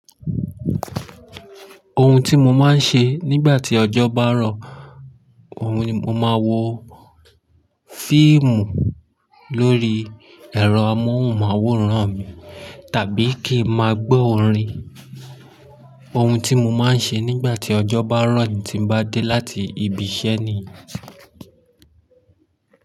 Ohun tí mo máa ń ṣe nígbà tí ọjọ́ bá rọ̀, òun ni mọ máa wò fíìmù lórí ẹ̀rọ amóhùnmáwòrán mi, tàbí kí ma gbọ́ orin. Ohun tí mọ máa ń ṣe nígbà tí ọjọ́ bá rọ̀ tí mo bá dé láti ibi iṣẹ́ nìyẹn.